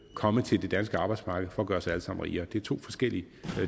komme til det danske arbejdsmarked for at gøre os alle sammen rigere det er to forskellige